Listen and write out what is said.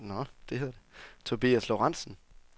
Tobias Lorentzen